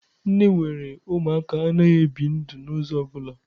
Nne nwere Ụmụaka anaghị ebi ndụ n'ụzọ ọ bụla.